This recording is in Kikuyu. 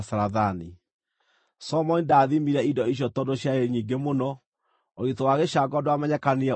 Solomoni ndaathimire indo icio tondũ ciarĩ nyingĩ mũno; ũritũ wa gĩcango ndwamenyekanire ũrĩa waiganaga.